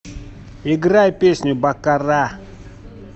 играй песню баккара